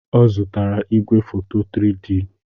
Ọ zụtara igwefoto 3D.